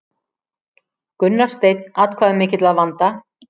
Gunnar Steinn atkvæðamikill að vanda